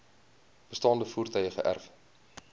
bestaande voertuie geërf